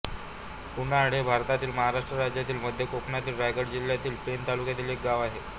कुर्नाड हे भारतातील महाराष्ट्र राज्यातील मध्य कोकणातील रायगड जिल्ह्यातील पेण तालुक्यातील एक गाव आहे